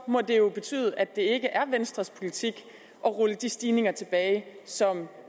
må det jo betyde at det ikke er venstres politik at rulle de stigninger tilbage som